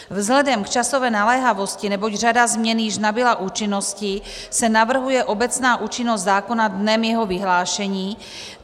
Vzhledem k časové naléhavosti, neboť řada změn již nabyla účinnosti, se navrhuje obecná účinnost zákona dnem jeho vyhlášení.